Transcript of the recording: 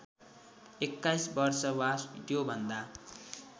२१ वर्ष वा त्योभन्दा